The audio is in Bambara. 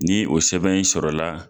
Ni o sɛbɛn in sɔrɔ la